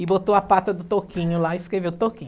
E botou a pata do Toquinho lá e escreveu Toquinho.